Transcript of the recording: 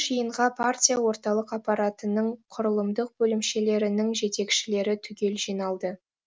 жиынға партия орталық аппаратының құрылымдық бөлімшелерінің жетекшілері түгел жиналды